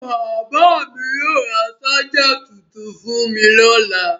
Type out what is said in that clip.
Bàbá mi yóò ra ṣáj tuntun fún mi lọ́la.